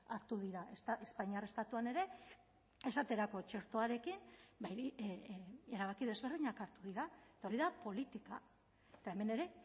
hartu dira espainiar estatuan ere esaterako txertoarekin erabaki desberdinak hartu dira eta hori da politika eta hemen ere